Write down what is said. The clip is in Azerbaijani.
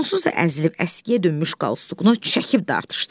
Onsuz da əzilib əskiyə dönmüş qalstukunu çəkib dartışdırdı.